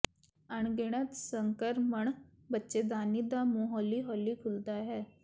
ਅਣਗਿਣਤ ਸੰਕਰਮਣ ਬੱਚੇਦਾਨੀ ਦਾ ਮੂੰਹ ਹੌਲੀ ਹੌਲੀ ਖੁੱਲ੍ਹਦਾ ਹੈ